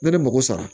Ne bɛ mako sara